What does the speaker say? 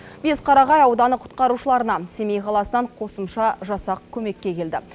бесқарағай ауданы құтқарушыларына семей қаласынан қосымша жасақ көмекке келді